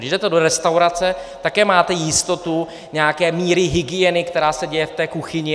Když jdete do restaurace, také máte jistotu nějaké míry hygieny, která se děje v té kuchyni.